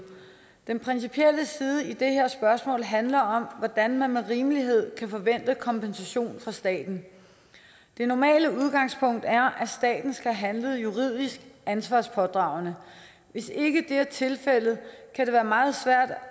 den principielle side i det her spørgsmål handler om hvordan man med rimelighed kan forvente kompensation fra staten det normale udgangspunkt er at staten skal handle juridisk ansvarspådragende hvis ikke det er tilfældet kan det være meget svært at